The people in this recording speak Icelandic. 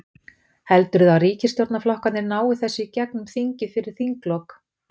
Heldurðu að ríkisstjórnarflokkarnir nái þessu í gegnum þingið fyrir þinglok?